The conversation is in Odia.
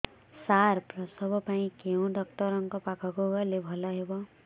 ସାର ପ୍ରସବ ପାଇଁ କେଉଁ ଡକ୍ଟର ଙ୍କ ପାଖକୁ ଗଲେ ଭଲ ହେବ